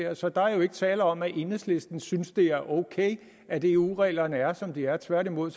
er så der er jo ikke tale om at enhedslisten synes det er ok at eu reglerne er som de er tværtimod